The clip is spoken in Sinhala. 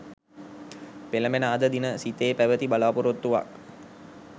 පෙලඹෙන අද දින සිතේ පැවැති බලා‍පොරොත්තුවක්